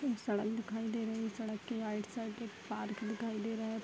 एक सड़क दिखाई दे रही सड़क के राइट साइड एक पार्क दिखाई दे रहा है।